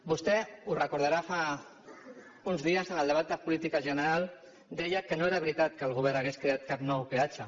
vostè ho deu recordar fa uns dies en el debat de política general deia que no era veritat que el govern hagués creat cap nou peatge